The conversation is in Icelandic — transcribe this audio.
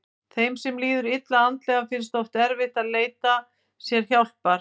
Þeim sem líður illa andlega finnst oft erfitt að leita sér hjálpar.